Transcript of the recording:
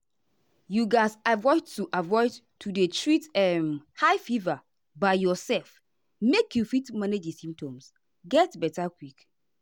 you gatz avoid to avoid to dey treat um high fever by yourself make you fit manage di symptoms get beta quick.